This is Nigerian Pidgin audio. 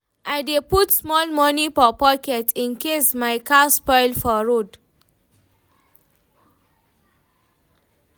I dey put small moni for pocket incase my car spoil for road.